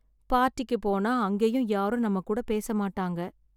பார்ட்டிக்கு போனா அங்கேயும் யாரும் நம்ம கூட பேச மாட்டாங்க.